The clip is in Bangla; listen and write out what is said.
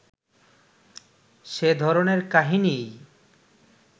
সে ধরণের কাহিনীই